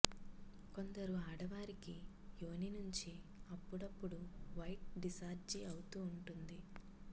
కొందరు ఆడవారికి యోని నుంచి అప్పుడప్పుడు వైట్ డిశ్చార్జి అవుతూ ఉంటుంది